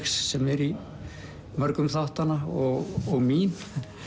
sem er í mörgum þáttanna og mín